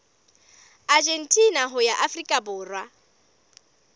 argentina ho ya afrika borwa